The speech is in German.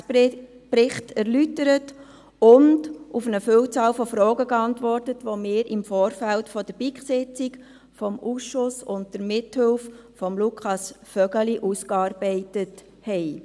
der BiK. Rektor Martin Schäfer erläuterte den Geschäftsbericht in seiner gewohnt rasanten Art und antwortete auf eine Vielzahl von Fragen, die wir im Vorfeld der BiK-Sitzung im Ausschuss unter Mithilfe von Lukas Vögeli ausgearbeitet hatten.